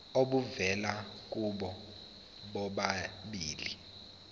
obuvela kubo bobabili